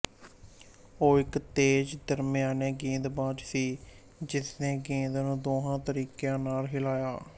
ਉਹ ਇੱਕ ਤੇਜ਼ ਦਰਮਿਆਨੇ ਗੇਂਦਬਾਜ਼ ਸੀ ਜਿਸਨੇ ਗੇਂਦ ਨੂੰ ਦੋਹਾਂ ਤਰੀਕਿਆਂ ਨਾਲ ਹਿਲਾਇਆ